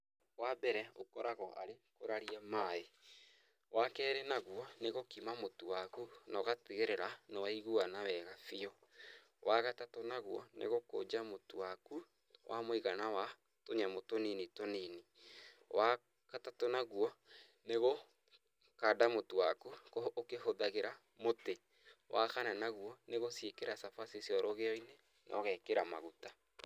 Wambere ũkoragwo arĩ kũraria maĩ, wakerĩ naũo nĩgũkima mũtu wakũ noũgatigĩrĩra nĩwaiguana wega biũ ,wagatatũ naũo nĩgũkũnja mũtu wakũ wamũigana wa tũnyamũ tũnini tũnini ,wagatatũ naguo nĩgũkanda mũtu waku ukihũdhagira mũtĩ, wakana naguo nĩ gũikĩra cabaci rũgĩoinĩ nogekĩra maguta.